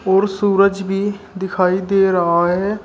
और सूरज भी दिखाई दे रहा है।